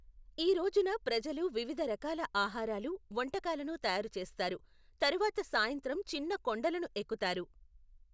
ఈ రోజున ప్రజలు వివిధ రకాల ఆహారాలు, వంటకాలను తయారు చేస్తారు, తరువాత సాయంత్రం చిన్న కొండలను ఎక్కుతారు.